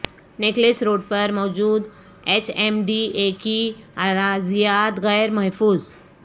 necklace road پر موجود H M D A کی اراضیات غیر محفوظ